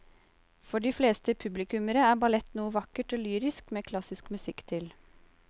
For de fleste publikummere er ballett noe vakkert og lyrisk med klassisk musikk til.